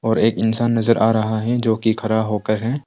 और एक इंसान नजर आ रहा हैं जो कि खड़ा होकर है।